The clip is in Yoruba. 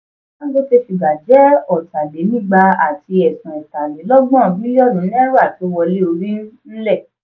dangote sugar jẹ́ ota-lè-nígbà àti ẹ̀sún ẹ̀tàlélọ́gbọ̀n biliọnu náírà tó wọlé orí n-lè.